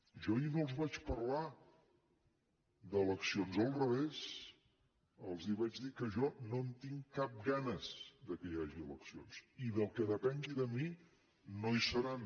jo ahir no els vaig parlar d’eleccions al revés els vaig dir que jo no en tinc cap ganes que hi hagi eleccions i pel que depengui de mi no hi seran